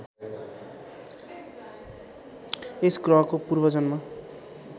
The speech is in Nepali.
यस ग्रहको पूर्वजन्म